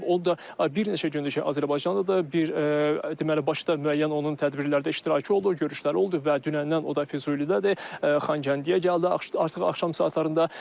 O da bir neçə gündür ki, Azərbaycandadır, bir deməli Başkıda müəyyən onun tədbirlərdə iştirakı oldu, görüşləri oldu və dünəndən o da Füzulidədir, Xankəndiyə gəldi artıq axşam saatlarında.